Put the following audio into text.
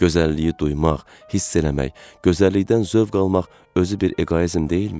Gözəlliyi duymaq, hiss eləmək, gözəllikdən zövq almaq özü bir eqoizm deyilmi?